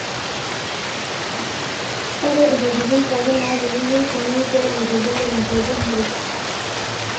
ore intokitin pookin naapiki keitumiae pee eitubulu inkaitubuulu